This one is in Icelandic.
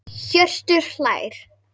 Hjörtur hlær.